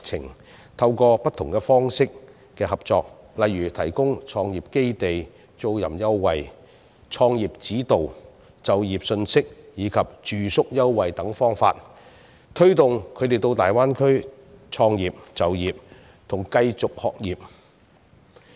我們可透過不同方式的合作，例如提供創業基地租賃優惠、創業指導、就業信息及住宿優惠等方法，推動他們到大灣區創業、就業及繼續學業。